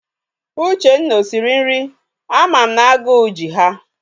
Uchenna o siri nri? Ama m na aguu ji ha.